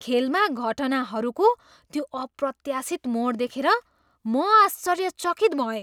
खेलमा घटनाहरूको त्यो अप्रत्याशित मोड देखेर म आश्चर्यचकित भएँ।